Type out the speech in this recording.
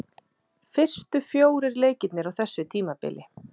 Fyrstu fjórir leikirnir á þessu tímabili.